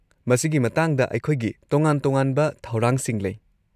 ꯃꯁꯤꯒꯤ ꯃꯇꯥꯡꯗ ꯑꯩꯈꯣꯏꯒꯤ ꯇꯣꯉꯥꯟ-ꯇꯣꯉꯥꯟꯕ ꯊꯧꯔꯥꯡꯁꯤꯡ ꯂꯩ꯫